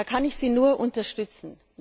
Da kann ich Sie nur unterstützen.